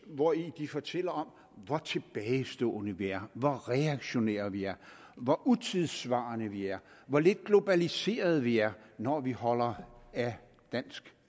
hvori de fortæller om hvor tilbagestående vi er hvor reaktionære vi er hvor utidssvarende vi er hvor lidt globaliserede vi er når vi holder af dansk